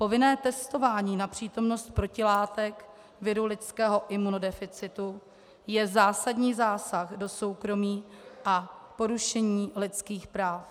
Povinné testování na přítomnost protilátek viru lidského imunodeficitu je zásadní zásah do soukromí a porušení lidských práv.